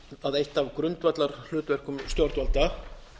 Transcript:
að eitt af grundvallarhlutverkum stjórnvalda